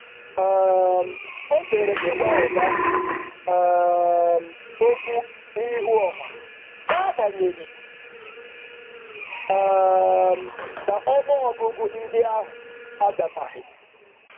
Ọ zere ịgwa oga okwu n’ihu ọha, n’agbanyeghị na ọnụọgụgụ ndị ahụ adabaghị.